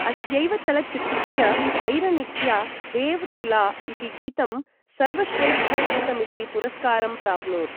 अस्यैव चलच्चित्रस्य ऐरनिच्या देव तुला इति गीतं सर्वश्रेष्ठगीतमिति पुरस्कारं प्राप्नोत्।